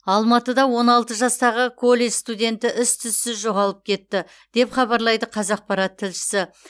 алматыда он алты жастағы колледж студенті із түзсіз жоғалып кетті деп хабарлайды қазақпарат тілшісі